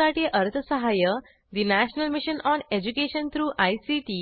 यासाठी अर्थसहाय्य national mission on education through ICT